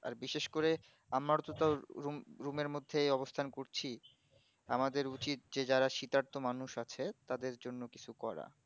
আর বিশেষ করে আমরা তো তাও room আর মধ্যেই অবস্থান করছি আমাদের উচিত যে যারা শীতার্থ মানুষ আছে তাদের জন্য কিছু করা